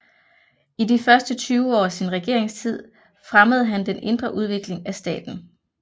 I de første 20 år af sin regeringstid fremmede han den indre udvikling af staten